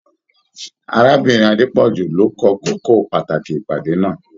Arábìnrin Adepoju ló kọ̀ kókó pàtàkì ìpàdé náà.